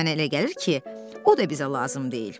amma mənə elə gəlir ki, o da bizə lazım deyil.